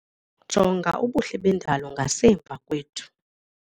Jonga ubuhle bendalo ngasemva kwethu.